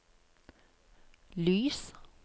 lys